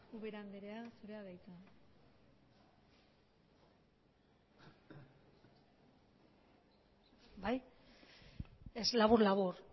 ubera anderea zurea da hitza labur labur